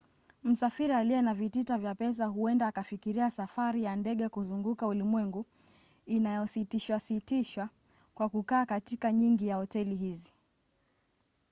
msafiri aliye na vitita vya pesa huenda akafikiria safari ya ndege kuzunguka ulimwengu inayositishwasitishwa kwa kukaa katika nyingi ya hoteli hizi